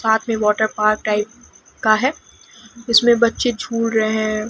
साथ में water park type का है इसमें बच्चे झूल रहे हैं।